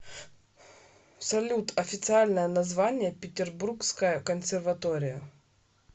салют официальное название петербургская консерватория